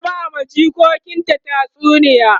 ta na bawa jikokinta tatsuniya